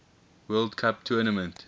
world cup tournament